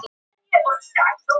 Hamingjan hjálpi þér.